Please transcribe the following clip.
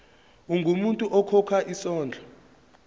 ungumuntu okhokha isondlo